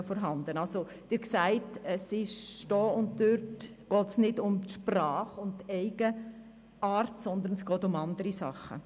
Sie sehen also, hier und dort geht es nicht um die Sprache und die Eigenheiten, sondern es geht um anderes.